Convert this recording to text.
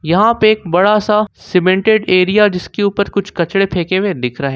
यहां पे एक बड़ा सा सीमेंटेड एरिया जिसके ऊपर कुछ कचड़े फेंके हुए दिख रहे--